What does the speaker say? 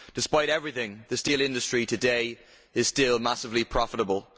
Despite everything, the steel industry today is still massively profitable.